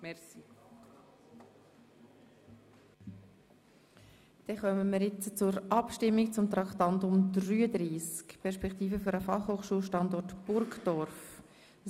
Wir stimmen über das Traktandum 33 beziehungsweise über die Motion «Perspektiven für den Fachhochschulstandort Burgdorf» ab.